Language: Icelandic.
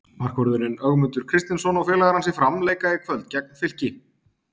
Markvörðurinn Ögmundur Kristinsson og félagar hans í Fram leika í kvöld gegn Fylki.